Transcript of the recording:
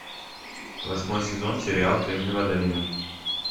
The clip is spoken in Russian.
восьмой сезон сериал кремниевая долина